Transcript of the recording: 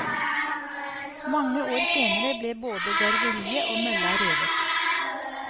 Mange år senere ble både garveriet og mølla revet.